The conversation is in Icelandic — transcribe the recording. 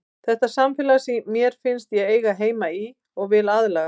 Þetta er samfélag sem mér finnst ég eiga heima í og vil aðlagast.